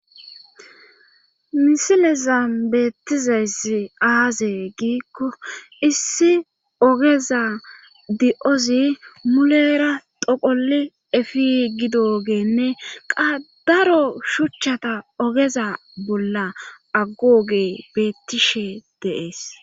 misilezam beettizayssi aaze giikko issi ogeza di7ozi mulera doqoli efi gido geenne qadaro shuchchata ogeza bolla aggooge beettishe deees